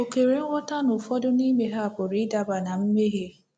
O kwere nghọta na ụfọdụ n’ime ha pụrụ ịdaba ná mmehie.